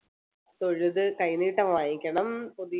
തൊഴുത് കൈനീട്ടം വാങ്ങിക്കണം പതി~